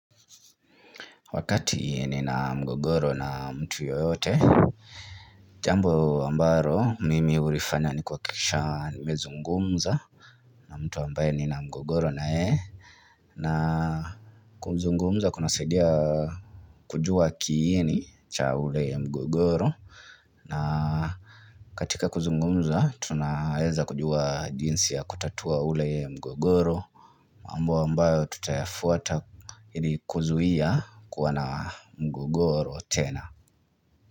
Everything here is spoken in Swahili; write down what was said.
Wakati nina mgogoro na mtu yoyote Jambo ambalo mimi hulifanya ni kuhakikisha nimezungumza na mtu ambaye nina mgogoro na yeye na kuzungumza kunasaidia kujua kiini cha ule ya mgogoro na katika kuzungumza tunaweza kujua jinsi ya kutatua ule ya mgogoro ambayo tutayafuata ili kuzuia kuwa na mgogoro tena.